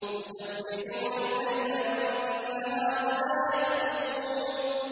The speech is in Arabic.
يُسَبِّحُونَ اللَّيْلَ وَالنَّهَارَ لَا يَفْتُرُونَ